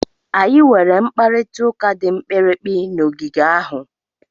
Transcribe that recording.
Anyị nwere mkparịta ụka dị mkpirikpi n'ogige ahụ.